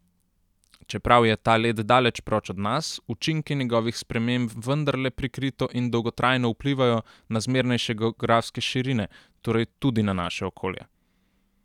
Čeprav je ta led daleč proč od nas, učinki njegovih sprememb vendarle prikrito in dolgotrajno vplivajo na zmernejše geografske širine, torej tudi na naše okolje.